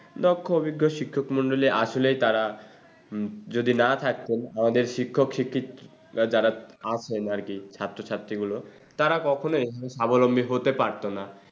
দক্ষ অভিজ্ঞ শিক্ষমন্ডলী আসলে তারা হম যদি না থাকতো আমাদের শিক্ষক শিক্ষিক যারা আসেন আর কি ছাত্রছাত্রী গুলো তারা কখনোই সাবলম্বী হতে পারতোনা।